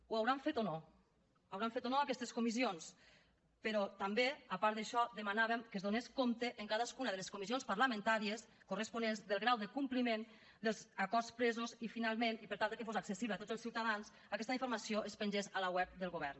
ho hauran fet o no hauran fet o no aquestes comissions però també a part d’això demanàvem que es donés compte en cadascuna de les comissions parlamentàries corresponents del grau de compliment dels acords presos i finalment i per tal de que fos accessible a tots els ciutadans que aquesta informació es pengés a la web del govern